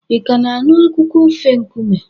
Ị ka na-anụ akụkọ ofe nkume?